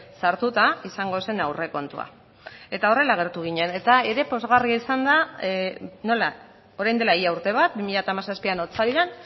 sartuta izango zen aurrekontua eta horrela agertu ginen eta ere pozgarria izan da nola orain dela ia urte bat bi mila hamazazpian otsailean